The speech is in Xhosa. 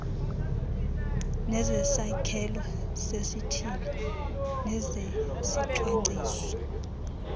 nezesakhelo sesithili nezezicwangciso